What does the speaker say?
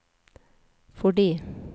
fordi